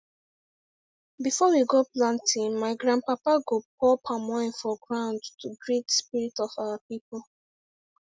before we go planting my grandpapa go pour palm wine for ground to greet spirit of our people